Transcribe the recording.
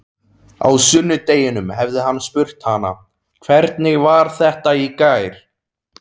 Á sunnudeginum hefði hann spurt hana: Hvernig var þetta í gær?